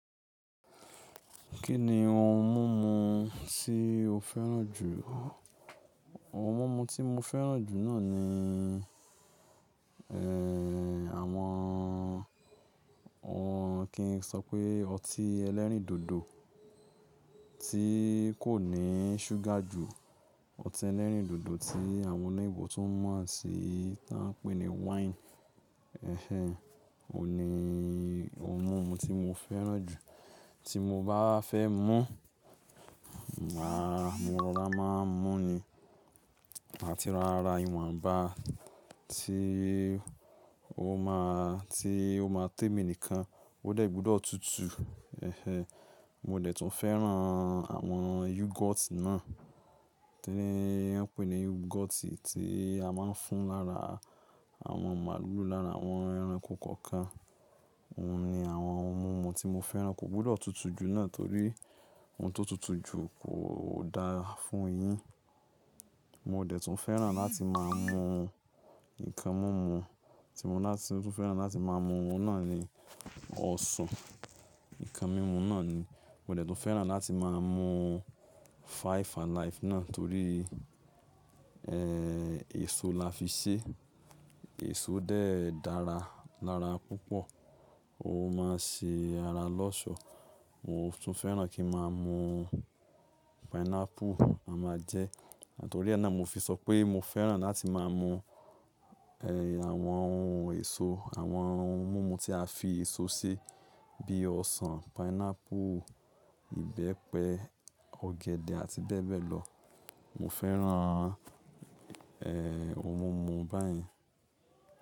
Kí ni àwọn ohun mímu tí o fẹ́ràn jù? Àwọn ohun mímu tí mo fẹ́ràn jù náà ni, ẹ́, àwọn, kí n sọ pé ọtí ẹlẹ́rìndòdò tí kò ní ṣúgà jù. Ọtí ẹlẹ́rìndòdò tí àwọn oloyinbò tún mọ̀ sí, tí wọ́n ń pè ní wáìnì. Ẹ̀hẹ̀, òun ni ohun mímu tí mo fẹ́ràn jù. Tí mo bá fẹ́ mú, à, mo rọra máa ń mú ni àti ra ara ìwọ̀nba tí ó máa, tí ó máa tèmi nìkan. Ó dẹ̀ gbọ́dọ̀ tutù. Ẹ̀hẹ̀, mo dẹ̀ tún fẹ́ràn àwọn yúgọ́ọ̀tì náà tí wọ́n ń pè ní yúgọ́ọ̀tì tí a máa ń fún lára àwọn màlúù lára àwọn ẹranko kọ̀ọ̀kan. Òun ni àwọn ohun mímu tí mo fẹ́ràn kò gbọ́dọ̀ tutù jù náà torí ohun tó tutù jù kò dáa fún eyín. Mo dẹ̀ tún fẹ́ràn láti máa mú nǹkan mímu, tí mo dẹ̀ tún fẹ́ràn láti máa mú náà ni ọsàn. Nǹkan mímu náà ni mo dẹ̀ tún fẹ́ràn láti máa mú Five alive náà torí, ẹ́, èso la fi ṣé. Èso dẹ̀ dára lára púpọ̀, ó máa ṣe ara lọ́ṣọ̀. Mo tún fẹ́ràn kí ma mú pineapple, a máa jẹ ẹ́, nitorí náà mo fi sọ pé mo fẹ́ràn láti máa mú, ẹ́, àwọn ohun èso, àwọn ohun mímu tí a fi èso ṣe bí i ọsàn, pineapple, ìbẹ́pẹ, ọ̀gẹ̀dẹ̀ àti bẹ́ẹ̀ bẹ́ẹ̀ lọ. Mo fẹ́ràn, ẹ́, ohun mímu báyìí.